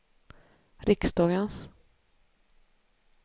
riksdagens